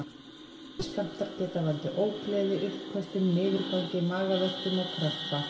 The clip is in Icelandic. Minni skammtar geta valdið ógleði, uppköstum, niðurgangi, magaverkjum og krampa.